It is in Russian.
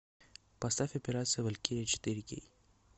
поставь операция валькирия четыре кей